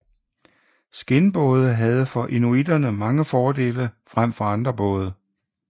Skindbåde havde for inuiterne mange fordele frem for andre både